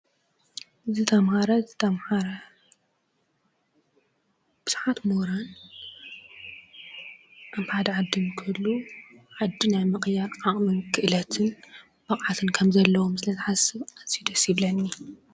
ዝተምሃረ ዝተምሓረ ብዙሓት ምሁራን ከም ሓደ ዓዲ ንክህልው ዓዲ ናይ ምቅያር ዓቅምን፣ ክእለትን ፣ብቅዓት ከም ዘለዎም ስለ ዝሓስብ ኣዚዩ ደስ ይብለኒ ።